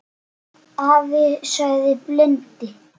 sagði afi blindi.